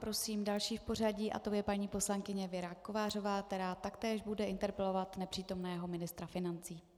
Prosím další v pořadí a tou je paní poslankyně Věra Kovářová, která taktéž bude interpelovat nepřítomného ministra financí.